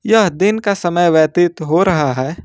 यह दिन का समय व्यतीत हो रहा है।